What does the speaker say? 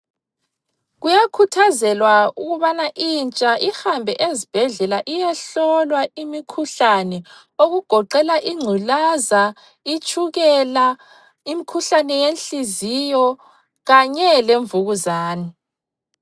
Kuyakhuthazelwa ukubana intsha ihambe ezibhedlela iyehlolwa imikhuhlane okugoqela ingculaza, itshukela, imkhuhlane yenhliziyo kanye lemvukuzane.